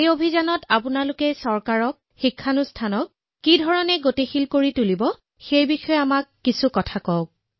এই অভিযানৰ বাবে আপুনি মানুহ চৰকাৰ প্ৰতিষ্ঠানক কিদৰে উজ্জীৱিত কৰিছে এই বিষয়ে আপুনি আমাক কিছু কব ধন্যবাদ